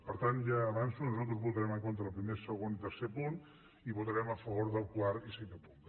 per tant ja avanço que nosaltres votarem en contra el primer segon i tercer punts i votarem a favor del quart i cinquè punts